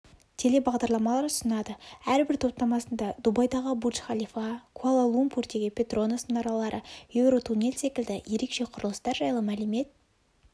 телебағдарламалар ұсынады әрбір топтамасында дубайдағы бурдж-халифа куала-лумпурдегі петронас мұнаралары еуротуннель секілді ерекше құрылыстар жайлы мәлімет